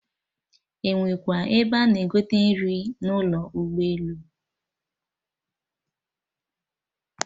Enwekwa ebe a na-egote nri n'ụlọ ụgbọ elu?